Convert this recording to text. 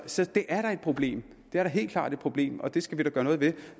så det er da et problem det er da helt klart et problem og det skal vi da gøre noget ved